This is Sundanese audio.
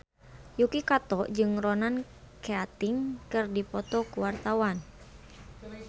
Yuki Kato jeung Ronan Keating keur dipoto ku wartawan